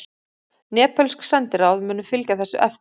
Nepölsk sendiráð munu fylgja þessu eftir